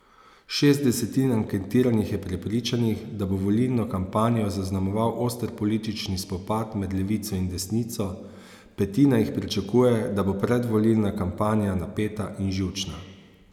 Šest desetin anketiranih je prepričanih, da bo volilno kampanjo zaznamoval oster politični spopad med levico in desnico, petina jih pričakuje, da bo predvolilna kampanja napeta in živčna.